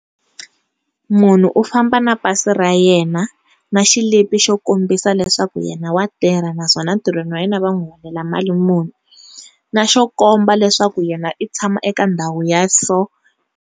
Munhu u famba na pasi ra yena na xilipi xo kombisa leswaku yena wa tirha naswona ntirhweni wa yena va n'wi holela mali muni na xo komba leswaku yena u tshama eka ndhawu ya so.